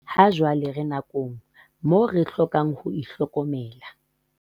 Hajwale re nakong moo re hlokang ho itlhokomela.